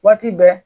Waati bɛɛ